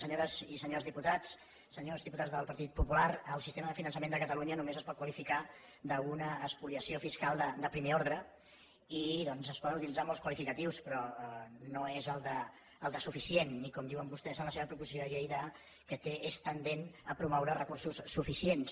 senyores i senyors diputats senyors diputats del partit popular el sistema de finançament de catalunya només es pot qualificar d’una espoliació fiscal de primer ordre i doncs es poden utilitzar molts qualificatius però no és el de suficient ni com diuen vostès en la seva proposició de llei que és tendent a promoure a recursos suficients